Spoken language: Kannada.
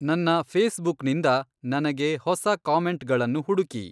ನನ್ನ ಫೇಸ್‌ಬುಕ್‌ನಿಂದ ನನಗೆ ಹೊಸ ಕಾಮೆಂಟ್‌ಗಳನ್ನು ಹುಡುಕಿ